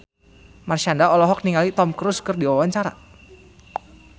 Marshanda olohok ningali Tom Cruise keur diwawancara